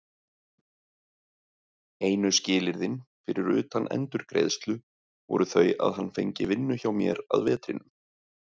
Einu skilyrðin, fyrir utan endurgreiðslu, voru þau að hann fengi vinnu hjá mér að vetrinum.